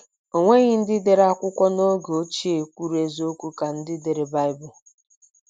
O nweghị ndị dere akwụkwọ n’oge ochie kwuru eziokwu ka ndị dere Baịbụl.